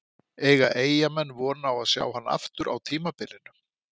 Eiga Eyjamenn von á að sjá hann aftur á tímabilinu?